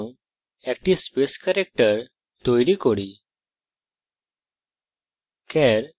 সুতরাং একটি space character তৈরী করি